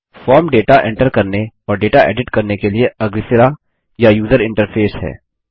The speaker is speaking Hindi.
फॉर्म डेटा एंटर करने और डेटा एडिट करने के लिए अग्रसिरा या यूजर इंटरफेस है